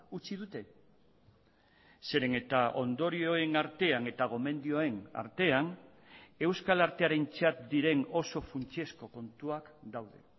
utzi dute zeren eta ondorioen artean eta gomendioen artean euskal artearentzat diren oso funtsezko kontuak daude